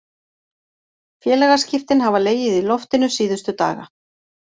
Félagaskiptin hafa legið í loftinu síðustu daga.